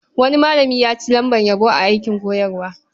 Wani malami ya ci lambar yabo a aikin koyarwa.